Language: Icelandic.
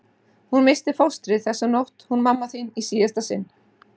Hún missti fóstrið þessa nótt hún mamma þín í síðasta sinn.